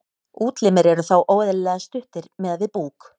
útlimir eru þá óeðlilega stuttir miðað við búk